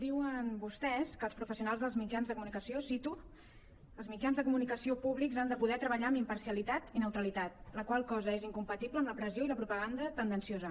diuen vostès que els professionals dels mitjans de comunicació cito els mitjans de comunicació públics han de poder treballar amb imparcialitat i neutralitat la qual cosa és incompatible amb la pressió i la propaganda tendenciosa